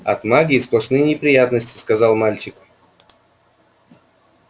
от магии сплошные неприятности сказал мальчик